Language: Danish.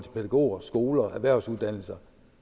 pædagoger skoler erhvervsuddannelser